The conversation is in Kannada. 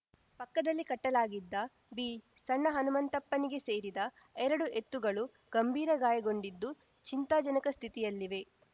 ಪಕ್ಕದಲ್ಲಿ ಕಟ್ಟಲಾಗಿದ್ದ ಬಿಸಣ್ಣಹನುಮಂತಪ್ಪನಿಗೆ ಸೇರಿದ ಎರಡು ಎತ್ತುಗಳು ಗಂಭೀರ ಗಾಯಗೊಂಡಿದ್ದು ಚಿಂತಾಜನಕ ಸ್ಥಿತಿಯಲ್ಲಿವೆ